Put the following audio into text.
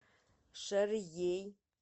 шарьей